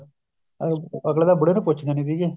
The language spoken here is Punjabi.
ਅਹ ਅਗਲੇ ਤਾਂ ਬੁੜੇ ਨੂੰ ਪੁੱਛਦੇ ਨੀ ਸੀਗੇ